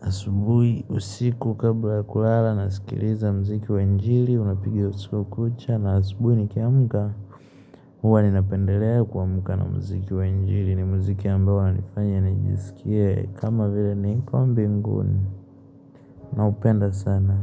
Asubui usiku kabla kulala nasikiliza mziki wa injiri unapigia usiku kucha na Asubui nikiamuka Uwa ninapendelea kuamuka na mziki wa injiri ni mziki yambao na nifanya nijisikia kama vile nikombinguni naupenda sana.